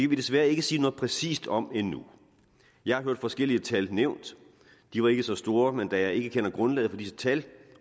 vi desværre ikke sige noget præcist om endnu jeg har hørt forskellige tal blive nævnt de var ikke så store men da jeg ikke kender grundlaget for disse tal